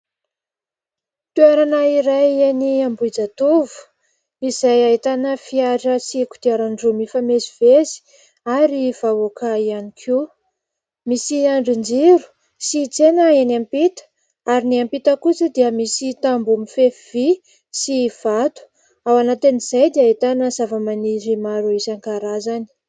Toerana iray eny ambohijatovo izay ahitana fiara sy kodiaran-droa mifamezivezy ary vahoaka ihany koa. Misy andrin-jiro sy tsena eny ampita ary ny ampita kosa dia misy tamboho mifefy vy sy vato, ao anatin'izay dia ahitana zavamaniry maro isan-karazany.